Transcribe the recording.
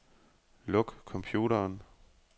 Luk computeren.